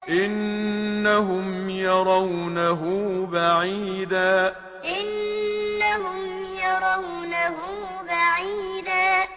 إِنَّهُمْ يَرَوْنَهُ بَعِيدًا إِنَّهُمْ يَرَوْنَهُ بَعِيدًا